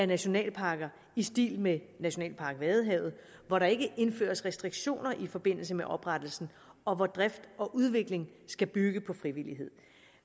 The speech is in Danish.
nationalparker i stil med nationalpark vadehavet hvor der ikke indføres restriktioner i forbindelse med oprettelsen og hvor drift og udvikling skal bygge på frivillighed